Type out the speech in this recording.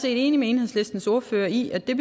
enig med enhedslistens ordfører i at det